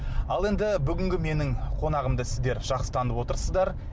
ал енді бүгінгі менің қонағымды сіздер жақсы танып отырсыздар